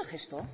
el gesto